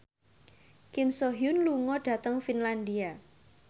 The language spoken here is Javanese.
Kim So Hyun lunga dhateng Finlandia